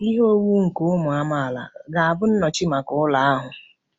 Ihe owuwu nke ụmụ amaala ga-abụ nnọchi maka ụlọ ahụ